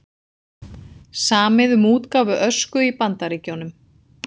Samið um útgáfu Ösku í Bandaríkjunum